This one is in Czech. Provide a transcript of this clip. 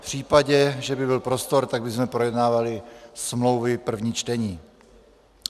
V případě, že by byl prostor, tak bychom projednávali smlouvy první čtení.